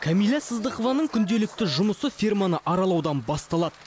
кәмила сыздықованың күнделікті жұмысы ферманы аралаудан басталады